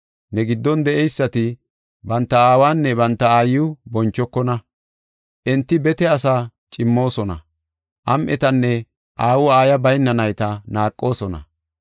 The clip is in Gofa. Ne giddon de7eysati banta aawanne banta aayiw bonchokona. Enti bete asaa cimmoosona; am7etanne aawu aayiya bayna nayta naaqoosona.